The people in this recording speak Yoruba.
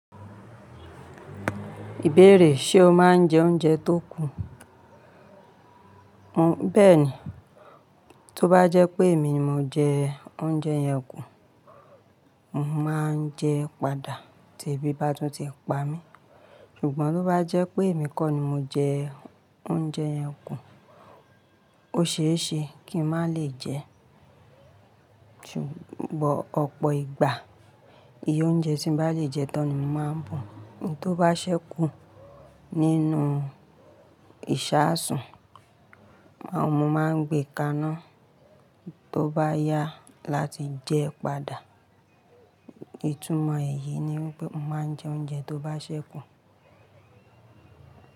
Ìbéèrè: ṣe o máa ń jẹ oúnjẹ tó kù? Hmm bẹ́ẹ̀ni. Tóbá jẹ́ pé èmi ni mo jẹ oúnjẹ yẹn kù, mo máa ń jẹ padà tí ebi bá tún ti pa mí. Ṣùgbọ́n tó bá jẹ́ pé èmi kọ́ ni mo jẹ oúnjẹ yẹn kù, ó ṣeé ṣe kí n má lè jẹ ṣùgbọ́n, but, ọ̀pọ̀ ìgbà iye oúnjẹ tí n bá lè jẹ tán ni mo máa ń bu. Ohun tó bá ṣẹ́kù nínú ìṣaasùn, máa, mo máa ń gbé kaná tó bá yá láti jẹ padà. Ìtumọ̀ èyí ni wípé mo máa ń jẹ oúnjẹ tó bá ṣẹ́kù.